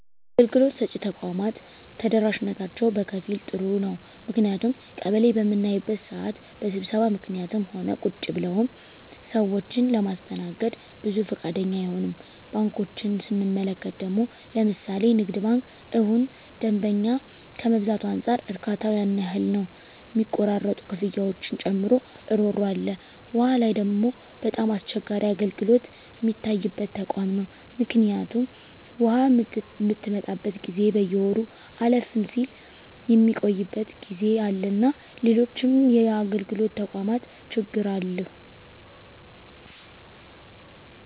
አገልግሎት ሰጭ ተቋማት ተደራሽነታቸው በከፊል ጥሩ ነው ምክንያቱም ቀበሌ በምናይበት ስዓት በስብሰባ ምክኒትም ሆነ ቁጭ ብለውም ሰዎችን ለማስተናገድ ብዙ ፈቃደኛ አይሆኑም። ባንኮችን ስንመለከት ደግሞ ለምሣሌ ንግድ ባንክ እሁን ደንበኛ ከመብዛቱ አንፃር እርካታው ያን ያህል ነው ሚቆራረጡ ክፍያዎችን ጨምሮ እሮሮ አለ። ዉሃ ላይ ደግሞ በጣም አስቸጋሪ አገልግሎት ሚታይበት ተቋም ነው ምክኒቱም ውሃ ምትመጣበት ጊዜ በየወሩ አለፍም ስል ሚቆይበት ጊዜ አለና ሎሎችም የአገልግሎት ተቋማት ችግሮች አሉ።